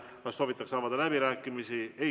Kas soovitakse avada läbirääkimisi?